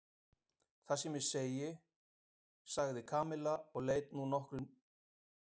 Það sem ég segi sagði Kamilla og leit nú loksins í augun á Nikka.